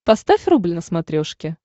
поставь рубль на смотрешке